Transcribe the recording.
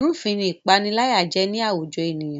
Ìrúfin ni ìpániláyà jẹ́ ní àwùjọ ènìyàn